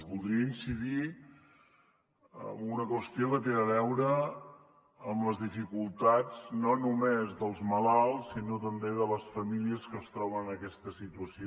voldria incidir en una qüestió que té a veure amb les dificultats no només dels malalts sinó també de les famílies que es troben aquesta situació